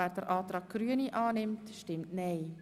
wer den Antrag Grüne annehmen will, stimmt nein.